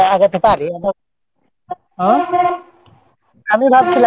আগাতে পারি আমি ভাবছিলাম,